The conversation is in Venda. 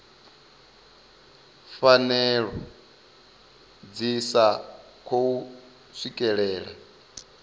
pfanelo dzi sa khou swikelelea